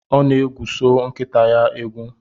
Ọ na-egwuso nkịta ya egwu